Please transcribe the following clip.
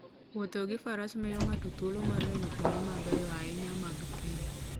Wuotho gi Faras miyo ng'ato thuolo mar neno kuonde mabeyo ahinya mag thim.